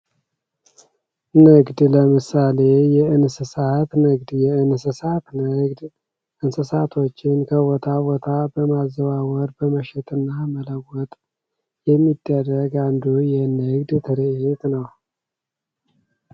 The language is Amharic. ንግድ ለምሳሌ የእንስሳት ንግድ የእንስሳት ንግድ እንስሳቶችን ከቦታ ቦታ በማዘዋወር በመሸጥ እና በመለወጥ የሚደረግ አንዱ የንግድ ትርዒት ነው።